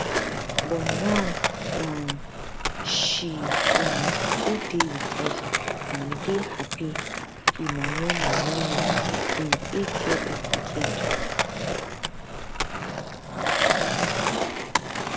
but now um she um still dey wit us and we dey happy emmanuella mary im eightyearold pikin tok